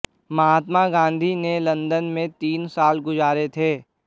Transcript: महात्मा गांधी ने लंदन में तीन साल गुज़ारे थे